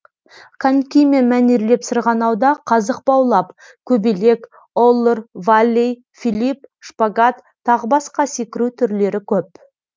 конькимен мәнерлеп сырғанауда қазық баулап көбелек оллер валлей филипп шпагат тағы басқа секіру түрлері көп